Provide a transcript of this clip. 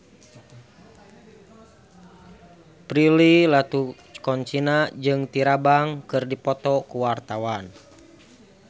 Prilly Latuconsina jeung Tyra Banks keur dipoto ku wartawan